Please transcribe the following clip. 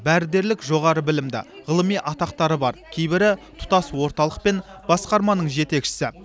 бәрі дерлік жоғары білімді ғылыми атақтары бар кейбірі тұтас орталық пен басқарманың жетекшісі